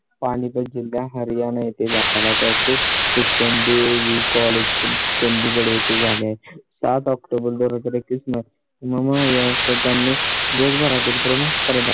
पाणीपत जिल्हा, हरियाणा येथे दाखवला. त्याचे शिक्षण B A V college BAVCollege Chandigarh येथे झाले. सात october दोन हजार एकवीस नं. मग त्यांनी जगभरातील प्रमुख स्पर्धा